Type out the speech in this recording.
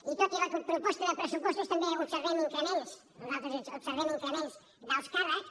i tot i la proposta de pressupostos també observem increments nosaltres observem increments d’alts càrrecs